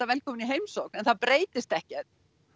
velkomin í heimsókn en það breytist ekkert